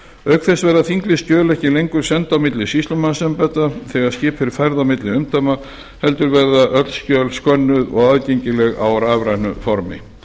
auk þess verða þinglýst skjöl ekki lengur send á milli sýslumannsembætta þegar skip er fært á milli umdæma heldur verða öll skjöl skönnuð og aðgengileg á rafrænu formi